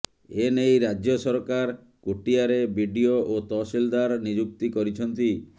ଏନେଇ ରାଜ୍ୟ ସରକାର କୋଟିଆରେ ବିଡିଓ ଓ ତହସିଲଦାର ନିଯୁକ୍ତି କରିଛନ୍ତି